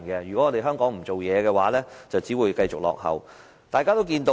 如果香港不發展，便只會繼續落後。